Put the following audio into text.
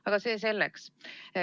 Aga see selleks.